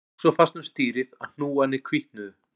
Hann tók svo fast um stýrið að hnúarnir hvítnuðu